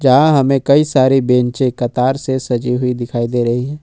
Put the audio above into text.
यहाँ हमें कई सारे बेंचे कतार से सजी हुई दिखाई दे रही है।